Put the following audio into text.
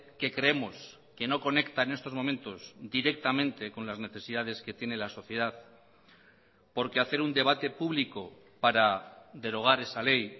que creemos que no conecta en estos momentos directamente con las necesidades que tiene la sociedad porque hacer un debate público para derogar esa ley